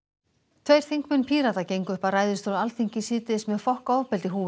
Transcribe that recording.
tveir þingmenn Pírata gengu upp að ræðustól Alþingis síðdegis með fokk ofbeldi húfur